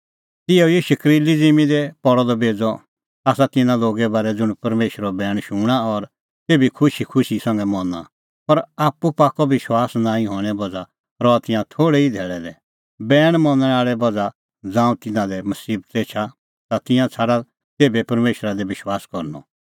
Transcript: तिहअ ई शकरीली ज़िम्मीं दी पल़अ द बेज़अ आसा तिन्नां लोगे बारै ज़ुंण परमेशरो बैण शूणां और तेभी खुशीखुशी संघै मना पर आप्पू पाक्कअ विश्वास नांईं हणें बज़्हा रहा तिंयां थोल़ै ई धैल़ै लै बैण मनणें बज़्हा ज़ांऊं तिन्नां लै मसीबता एछा ता तिंयां छ़ाडा तेभै परमेशरा दी विश्वास करनअ